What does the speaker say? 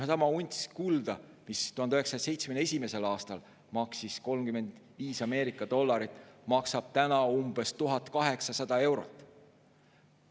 Seesama 1 unts kulda, mis 1971. aastal maksis 35 Ameerika dollarit, maksab nüüd umbes 1800 eurot.